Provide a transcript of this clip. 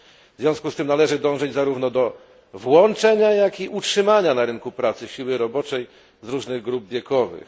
W związku z tym należy dążyć zarówno do włączenia, jak i utrzymania na rynku pracy siły roboczej z różnych grup wiekowych.